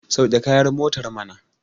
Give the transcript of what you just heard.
sauke kayan motar mana!